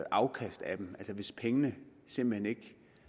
afkast af dem altså hvis pengene simpelt hen ikke